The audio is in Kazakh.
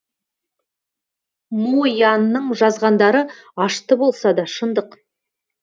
мо янның жазғандары ашты болса да шындық